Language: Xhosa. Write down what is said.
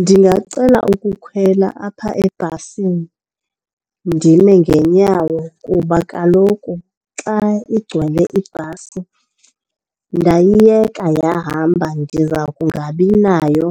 Ndingacela ukukhwela apha ebhasini ndime ngeenyawo kuba kaloku xa igcwele ibhasi ndayiyeka yahamba ndiza kungabinayo